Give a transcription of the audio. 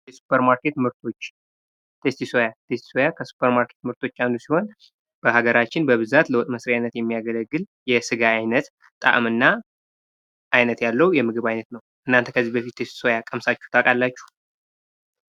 የሱፐርማርኬት ምርቶች ቴስቲ ሶያ ቴስቲስ ሶያ የሱፐር ማርኬት ምርቶች አንዱ ሲሆን ሀገራችን በብዛት ለውጥ መስሪያና የሚያገለግል የስጋ ዓይነት ጣዕምና አይነት ያለው የምግብ ዓይነት ነው። እርሶ ከዚህ በፊት ቴስቲ ሶያ ቀምሳችሁ ታውቃላችሁ?